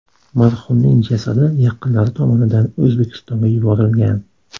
Marhumning jasadi yaqinlari tomonidan O‘zbekistonga yuborilgan.